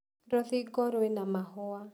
Rũthingo rwĩna mahũa.